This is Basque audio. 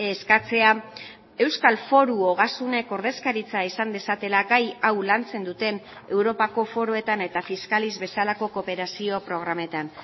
eskatzea euskal foru ogasunek ordezkaritza izan dezatela gai hau lantzen duten europako foruetan eta fiscalis bezalako kooperazio programetan